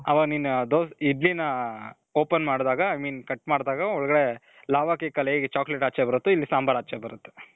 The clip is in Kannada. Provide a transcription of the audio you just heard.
ಅವಗ ನಿನು ದೋಸೆ ಇಡ್ಲಿ ನ open ಮಾಡಿದಾಗ i mean cut ಮಾಡಿದಾಗ ಒಳಗಡೆ lava cake ಅಲ್ಲಿ ಹೇಗೆ chocolate ಆಚೆ ಬರುತ್ತೊ, ಇಲ್ಲಿ ಸಾಂಬಾರ್ ಆಚೆ ಬರುತ್ತೆ.